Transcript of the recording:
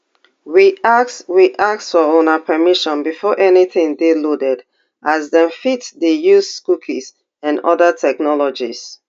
we ask we ask for una permission before anytin dey loaded as dem fit dey use cookies and oda technologies